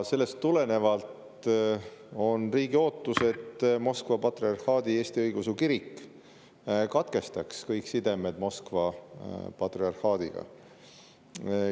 Sellest tulenevalt on riigi ootus, et Moskva Patriarhaadi Eesti Õigeusu Kirik katkestaks kõik sidemed Moskva patriarhaadiga.